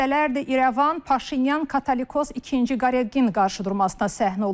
Həftələrdir İrəvan Paşinyan katolikos ikinci Qaregin qarşıdurmasına səhnə olur.